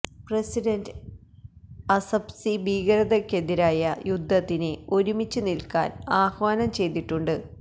president അസബ്സി ഭീകരതക്കെതിരായ യുദ്ധത്തിന് ഒരുമിച്ചു നില്ക്കാന് ആഹ്വാനം ചെയ്തിട്ടുണ്ട്